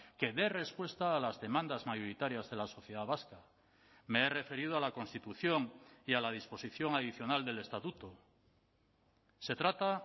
que dé respuesta a las demandas mayoritarias de la sociedad vasca me he referido a la constitución y a la disposición adicional del estatuto se trata